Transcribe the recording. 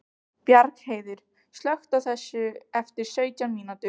Bjargheiður, slökktu á þessu eftir sautján mínútur.